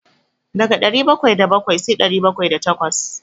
Daga ɗari bakwai da bakwai sai ɗari bakwai da takwas.